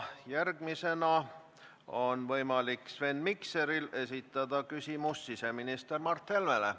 Järgmisena on võimalik Sven Mikseril esitada küsimus siseminister Mart Helmele.